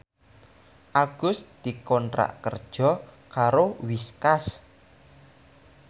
Agus dikontrak kerja karo Whiskas